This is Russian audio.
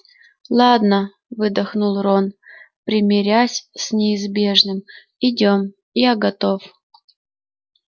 ладно выдохнул рон примирясь с неизбежным идём я готов